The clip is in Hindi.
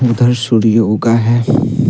उधर सूर्य ऊगा है।